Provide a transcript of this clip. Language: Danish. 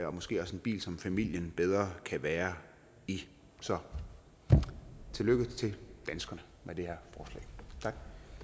og måske også en bil som familien bedre kan være i så tillykke til danskerne med det